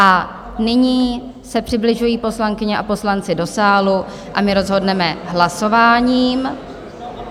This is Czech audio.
A nyní se přibližují poslankyně a poslanci do sálu a my rozhodneme hlasováním.